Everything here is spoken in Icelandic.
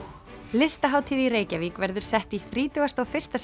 listahátíð í Reykjavík verður sett í þrítugasta og fyrsta